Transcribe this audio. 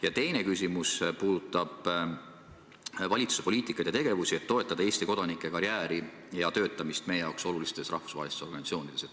Ja teine küsimus puudutab valitsuse poliitikat ja tegevusi, et toetada Eesti kodanike karjääri ja töötamist meie jaoks olulistes rahvusvahelistes organisatsioonides.